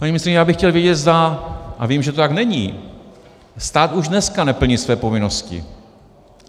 Paní ministryně, já bych chtěl vědět, zda - a vím, že to tak není, stát už dneska neplní své povinnosti.